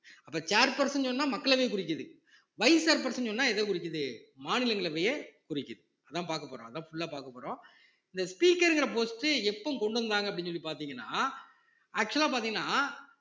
இப்ப chair person சொன்னா மக்களவை குறிக்குது vice chair person சொன்னா எத குறிக்குது மாநிலங்களவையை குறிக்குது அதான் பார்க்க போறோம் அதான் full ஆ பார்க்க போறோம் இந்த speaker ங்கிற post எப்ப கொண்டு வந்தாங்க அப்படின்னு சொல்லி பார்த்தீங்கன்னா actual ஆ பார்த்தீங்கன்னா